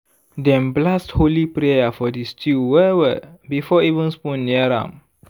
dem blast holy prayer for di stew well-well before even spoon near am.